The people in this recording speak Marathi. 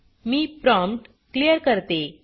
मी प्रॉम्प्ट क्लियर करते